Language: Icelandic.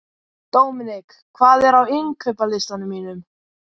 Dominik, hvað er á innkaupalistanum mínum?